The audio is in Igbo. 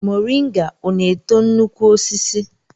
Moringa ọ na-eto nnukwu osisi?